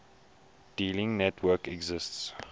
dealing networks exist